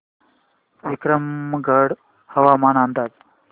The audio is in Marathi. विक्रमगड हवामान अंदाज